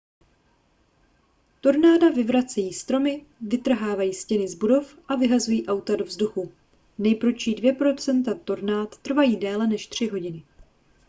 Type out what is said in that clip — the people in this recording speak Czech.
tornáda vyvracejí stromy vytrhávají stěny z budov a vyhazují auta do vzduchu nejprudší dvě procenta tornád trvají déle než tři hodiny